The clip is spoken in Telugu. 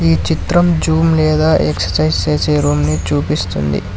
ఈ చిత్రం జూమ్ లేదా ఎక్సర్సైజ్ చేసే రూమ్ ని చూపిస్తుంది.